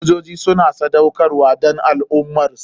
Sojoji suna sadaukarwa don al ummarsu.